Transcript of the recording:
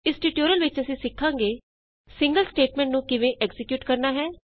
ਇਸ ਟਯੂਟੋਰੀਅਲ ਵਿਚ ਅਸੀਂ ਸਿਖਾਂਗੇ ਸਿੰਗਲ ਸਟੇਟਮੈਂਟ ਨੂੰ ਕਿਵੇਂ ਐਕਜ਼ੀਕਿਯੂਟ ਕਰਨਾ ਹੈ